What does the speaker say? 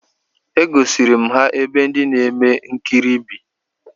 E gosiri m ha ebe ndị na-eme nkiri bi